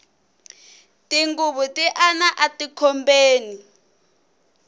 tinghuvu ti ana ati khobeni